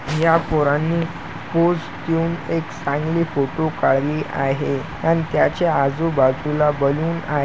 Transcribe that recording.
या पोरांनी पोज देऊन एक चांगली फोटो काढली आहे अन् त्याच्या आजूबाजूला बलून आहे.